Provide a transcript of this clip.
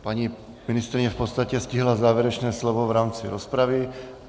Paní ministryně v podstatě stihla závěrečné slovo v rámci rozpravy.